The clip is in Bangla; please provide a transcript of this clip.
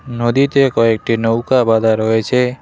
নদীতে কয়েকটি নৌকা বাধা রয়েছে।